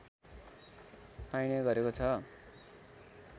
पाइने गरेको छ